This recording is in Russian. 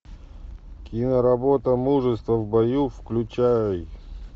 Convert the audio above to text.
киноработа мужество в бою включай